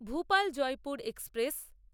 Bhopal Jaipur express